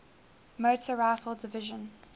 motor rifle division